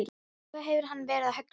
Hvað hefur hann verið að hugsa?